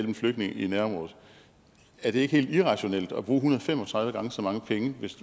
en flygtning i nærområdet er det ikke helt irrationelt at bruge en hundrede og fem og tredive gange så mange penge